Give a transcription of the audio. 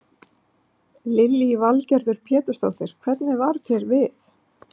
Lillý Valgerður Pétursdóttir: Hvernig varð þér við?